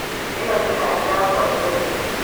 ĩno nĩ kajũ yakwa njerũ